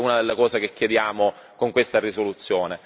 Quindi questa è una delle cose che chiediamo con questa risoluzione.